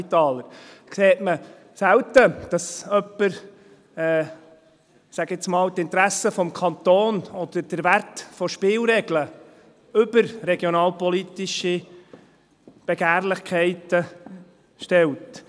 Man sieht selten, dass jemand – ich sage mal – die Interessen des Kantons oder den Wert von Spielregeln über regionalpolitische Begehrlichkeiten stellt.